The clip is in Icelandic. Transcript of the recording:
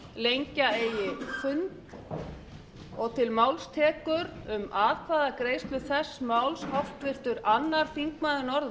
lengja eigi fund og til máls tekur um atkvæðagreiðslu þess máls háttvirtur öðrum þingmönnum norðvesturkjördæmis guðbjartur hannesson